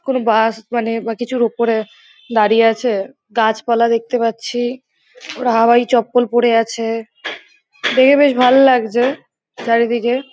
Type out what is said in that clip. কোনো বাস মানে বা কিছুর উপরে দাঁড়িয়ে আছে। গাছপালা দেখতে পাচ্ছি । ওরা হাওয়াই চপ্পল পরে আছে। দেখে বেশ ভালো লাগছে চারিদিকে ।